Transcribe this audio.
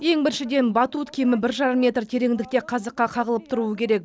ең біріншіден батут кемі бір жарым метр тереңдікте қазыққа қағылып тұру керек